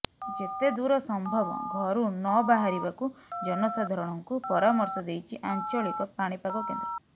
ଯେତେ ଦୂର ସମ୍ଭବ ଘରୁ ନ ବାହାରିବାକୁ ଜନସାଧାରଣଙ୍କୁ ପରାମର୍ଶ ଦେଇଛି ଆଞ୍ଚଳିକ ପାଣିପାଗ କେନ୍ଦ୍ର